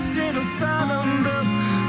сені сағындым